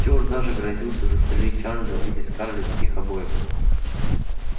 стюарт даже грозился застрелить чарлза или скарлетт их обоих